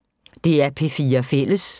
DR P4 Fælles